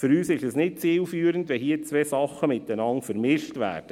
Für uns ist es nicht zielführend, wenn hier zwei Sachen miteinander vermischt werden.